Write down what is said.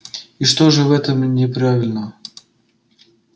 и что же в этом неправильного